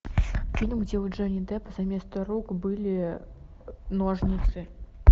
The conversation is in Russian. фильм где у джонни деппа заместо рук были ножницы